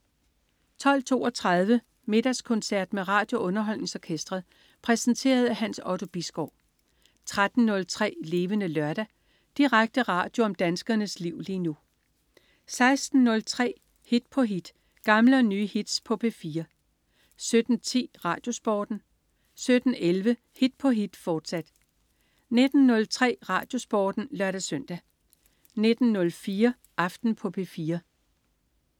12.32 Middagskoncert med RadioUnderholdningsOrkestret. Præsenteret af Hans Otto Bisgaard 13.03 Levende Lørdag. Direkte radio om danskernes liv lige nu 16.03 Hit på hit. Gamle og nye hits på P4 17.10 RadioSporten 17.11 Hit på hit, fortsat 19.03 RadioSporten (lør-søn) 19.04 Aften på P4